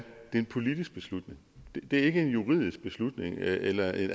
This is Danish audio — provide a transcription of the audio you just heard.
en politisk beslutning det er ikke en juridisk beslutning eller en